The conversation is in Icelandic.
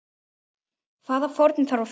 Hvaða fórnir þarf að færa?